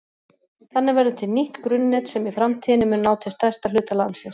Þannig verður til nýtt grunnnet sem í framtíðinni mun ná til stærsta hluta landsins.